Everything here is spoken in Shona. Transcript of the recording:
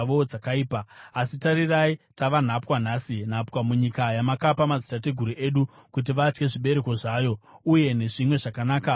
“Asi tarirai, tava nhapwa nhasi, nhapwa munyika yamakapa madzitateguru edu kuti vadye zvibereko zvayo uye nezvimwe zvakanaka zvainobereka.